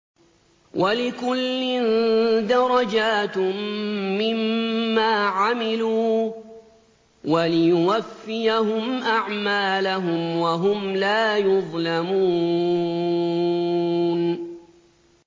وَلِكُلٍّ دَرَجَاتٌ مِّمَّا عَمِلُوا ۖ وَلِيُوَفِّيَهُمْ أَعْمَالَهُمْ وَهُمْ لَا يُظْلَمُونَ